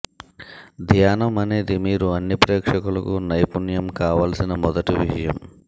ధ్యానం అనేది మీరు అన్ని ప్రేక్షకులకు నైపుణ్యం కావాల్సిన మొదటి విషయం